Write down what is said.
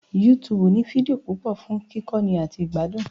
YouTube ní fídíò púpọ̀ fún kíkọ́ni àti ìgbádùn